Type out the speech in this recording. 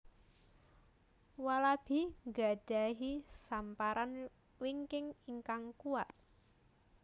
Walabi nggadhahi samparan wingking ingkang kuwat